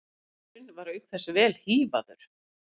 Maðurinn var auk þess vel hífaður